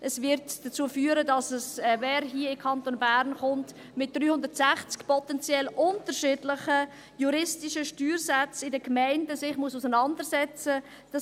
Dies wird dazu führen, dass wer hier in den Kanton Bern kommt, sich mit 360 potenziell unterschiedlichen juristisch Steuersätzen in den Gemeinden auseinandersetzen muss.